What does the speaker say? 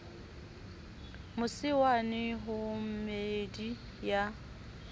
mose wane ho meedi ya